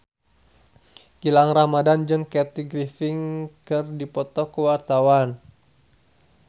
Gilang Ramadan jeung Kathy Griffin keur dipoto ku wartawan